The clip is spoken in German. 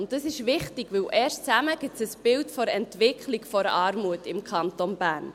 Und das ist wichtig, denn erst zusammen ergeben sie ein Bild der Entwicklung der Armut im Kanton Bern.